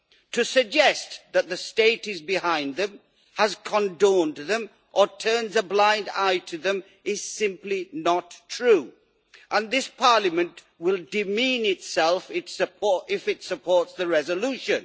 To suggest that the State is behind them, has condoned them or turns a blind eye to them is simply not true. And this Parliament will demean itself if it supports the resolution.